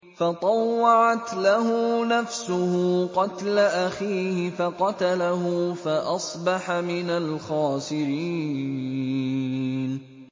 فَطَوَّعَتْ لَهُ نَفْسُهُ قَتْلَ أَخِيهِ فَقَتَلَهُ فَأَصْبَحَ مِنَ الْخَاسِرِينَ